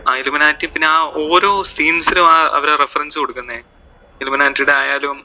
ആ illuminati പിന്നെ അഹ് ഓരോ scenes ലും അവര് ആ reference കൊടുക്കുന്നെ illuminati ടെ ആയാലും